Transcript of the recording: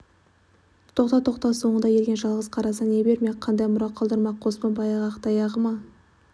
тоқта тоқта соңында ерген жалғыз қарасына не бермек қандай мұра қалдырмақ қоспан баяғы ақ таяғы ма